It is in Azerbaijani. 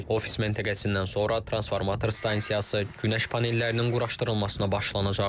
Ofis məntəqəsindən sonra transformator stansiyası, günəş panellərinin quraşdırılmasına başlanılacaq.